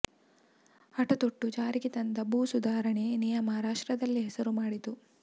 ಹಟತೊಟ್ಟು ಜಾರಿಗೆ ತಂದ ಭೂ ಸುಧಾರಣೆ ನಿಯಮ ರಾಷ್ಟ್ರದಲ್ಲೇ ಹೆಸರು ಮಾಡಿತು